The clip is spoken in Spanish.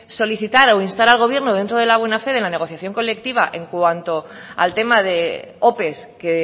solicitar o instar al gobierno dentro de la buena fe de la negociación colectiva en cuanto al tema de ope que